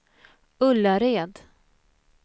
Ullared